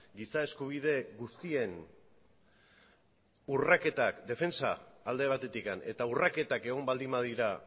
giza eskubide guztien urraketak defentsa alde batetik eta urraketak egon baldin badira